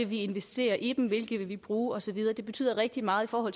vil investere i dem hvilke man vil bruge og så videre det betyder rigtig meget for